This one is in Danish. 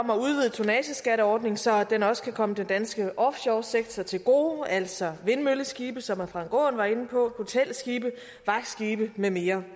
tonnageskatteordningen så den også kan komme den danske offshoresektor til gode altså vindmølleskibe som herre frank aaen var inde på hotelskibe vagtskibe med mere